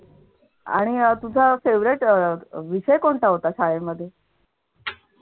आणि अह तुझा favorite अह विषय कोणता होता शाळेमध्ये.